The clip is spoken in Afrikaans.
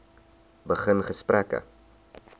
begin gesprekke